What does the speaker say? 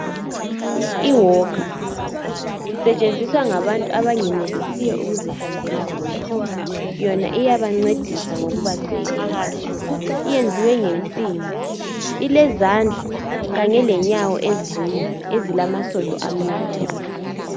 I"walker" isetshenziswa ngabantu abangenelisiyo ukuzihambela bodwa. Yona iyabancedisa ngokuba sekela. Iyenziwe ngensimbi. Ilezandla kanye lenyawo ezine ezilamasondo amnyama.